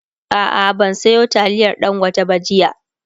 a'a ban Sayo taliyar dangote ba jiya